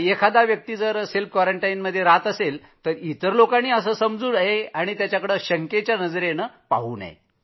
कुणी क्वारंटाईनमध्ये असेल याचा अर्थ त्याच्यावर तो शिक्का बसू नये